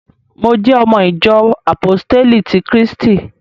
Mo jẹ́ ọmọ ìjọ àpóstélì ti krístì